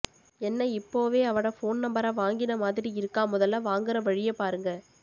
என்ன இப்போவே அவட போன் நம்பர வாங்கின மாதிரி இருக்கா முதல்ல வாங்கிற வழிய பாருங்க